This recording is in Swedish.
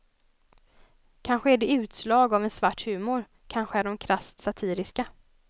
Kanske är de utslag av en svart humor, kanske är de krasst satiriska.